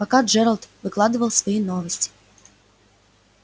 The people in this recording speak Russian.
пока джералд выкладывал свои новости